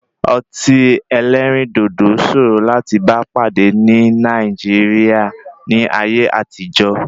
Ọtí ẹlẹ́rìndòdò sòòro láti bá pàdé ní Nàìjíríà ní ayé àtijó.